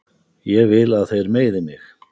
Ég vil að þeir meiði mig.